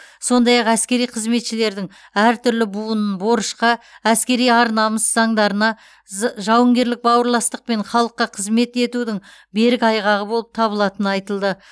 сондай ақ әскери қызметшілердің әртүрлі буын борышқа әскери ар намыс заңдарына з жауынгерлік бауырластық пен халыққа қызмет етудің берік айғағы болып табылатыны айтылды